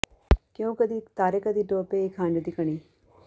ਕਿਉਂ ਕਦੀ ਤਾਰੇ ਕਦੀ ਡੋਬੇ ਇਕ ਹੰਝ ਦੀ ਕਣੀ